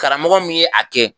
Karamɔgɔ min ye a kɛ